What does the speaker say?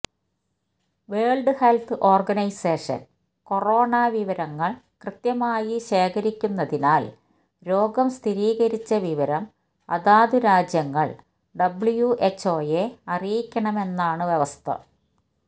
world health organisation corona വിവരങ്ങള് കൃത്യമായി ശേഖരിക്കുന്നതിനാല് രോഗം സ്ഥിരീകരിച്ച വിവരം അതാതു രാജ്യങ്ങള് ഡബ്ല്യുഎച്ച്ഒയെ അറിയിക്കണമെന്നാണ് വ്യവസ്ഥ